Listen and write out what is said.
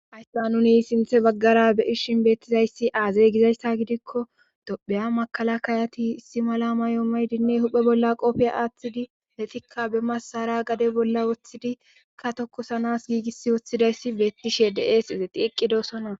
Hayssa nuni sinthe baggara be,ishin beettizayssi aazey gizayssa gidikko topheya makala kayati issi mala mayoomay dinne huphe bolla qoofiya aaththidi letikka be masara gade bolla woththidika tokosanas giigis woththidayssi beetti she des ize qiiqqidosona